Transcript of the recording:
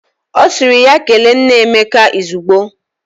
O siri ya kele nna Emeka izugbo.